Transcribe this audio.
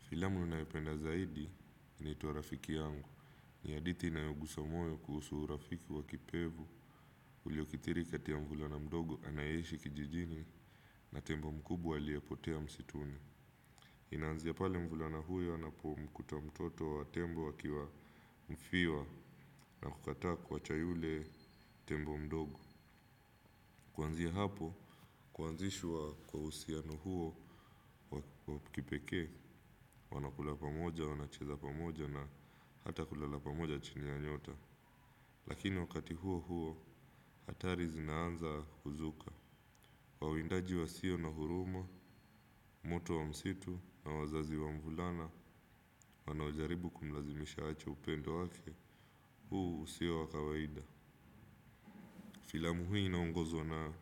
Filamu naipenda zaidi inaitwa rafiki yangu. Ni hadithi inayogusa moyo kuhusu urafiki wa kipevu. Uliokithiri kati ya mvulana mdogo anayeishi kijijini na tembo mkubwa aliyepotea msituni. Inaanzia pale mvulana huyo anapomkuta mtoto wa tembo akiwa mfiwa na kukataa kuwacha yule tembo mdogo. Kuanzia hapo, kuanzishwa kwa usiano huo wa kipeke, wanakula pamoja, wanacheza pamoja na hata kulala pamoja chini ya nyota. Lakini wakati huo huo, hatari zinaanza kuzuka. Wawindaji wasio na huruma, moto wa msitu na wazazi wa mvulana, wanao jaribu kumlazimisha aache upendo wake, huu usio wa kawaida. Filamu hii inaongozwa na